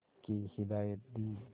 की हिदायत दी